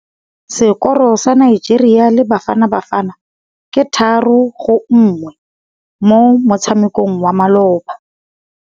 Sekôrô sa Nigeria le Bafanabafana ke 3-1 mo motshamekong wa malôba.